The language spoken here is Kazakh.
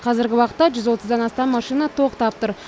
қазіргі уақытта жүз отыздан астам машина тоқтап тұр